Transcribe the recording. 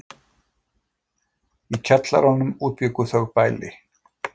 Í kjallaranum útbjuggu þau bæli.